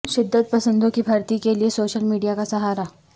شدت پسندوں کی بھرتی کے لیے سوشل میڈیا کا سہارا